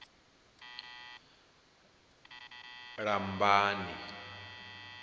lambani